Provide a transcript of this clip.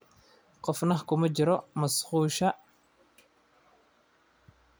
Qofna kuma jiro musqusha.